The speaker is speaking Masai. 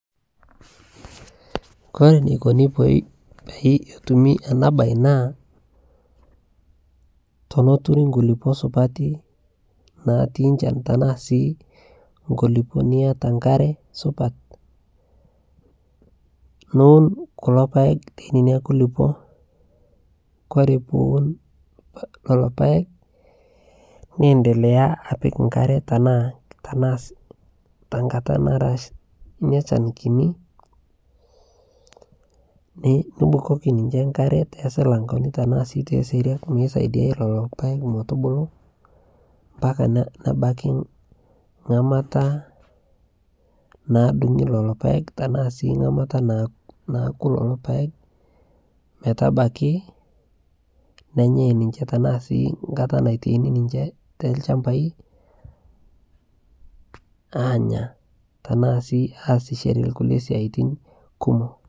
kore neikoni peetumi ana bai naa tonoturi nkulipo supati natii nchan tanaa sii nkulipoo niata nkaree supat nuun kulo paeg tenenia kulipoo kore piwun leloo paeg niendelea apik nkare tanaa tankataa nara inia shan kinii nubukokii ninshe nkare tesilankoni tanaa sii te seriak meisaidiai leloo paeg metubulu mpaka nebakii ngamataa nadungii leloo paeg tanaa sii ngamata nakuu leloo paeg metabaki nenyai ninshe tanaa sii ngataa naitaini ninshe telshampai anya tanaa sii aasishere lkulie siatin kumok.